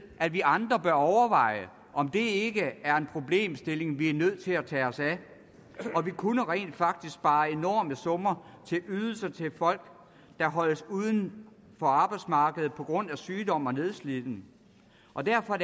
at vi andre bør overveje om det ikke er en problemstilling vi er nødt til at tage os af vi kunne rent faktisk spare enorme summer til ydelser til folk der holdes uden for arbejdsmarkedet på grund af sygdom og nedslidning og derfor